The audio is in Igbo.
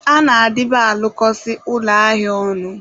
a na-adịba alụkọsị ụlọ ahịa ọnụ.